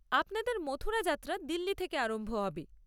আপনাদের মথুরা যাত্রা দিল্লি থেকে আরম্ভ হবে।